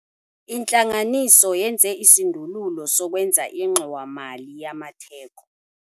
Intlanganiso yenze isindululo sokwenza ingxowa-mali yamatheko.